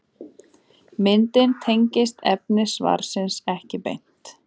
Myndin tengist efni svarsins ekki beint.